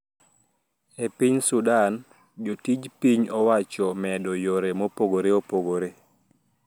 E piny Sudan, jotij piny owacho omedo yore mopogore opogore